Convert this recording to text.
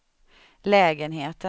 lägenheten